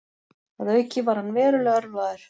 Að auki var hann verulega ölvaður